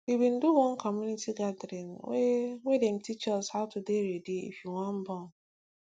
we bin do one community gathering wey wey dem teach us how to de ready if you wan born